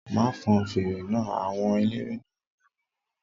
Má fọn fèrè náà! Àwọn eléré náà máa wí